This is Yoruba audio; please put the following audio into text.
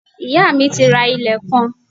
Iyá mi ti ra ilẹ̀ kan